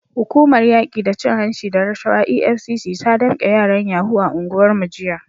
Hukumar yaki da cin hanci da rashawa EFCC ta damke yaran yahoo a unguwarmu jiya.